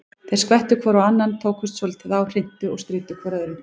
Þeir skvettu hvor á annan, tókust svolítið á, hrintu og stríddu hvor öðrum.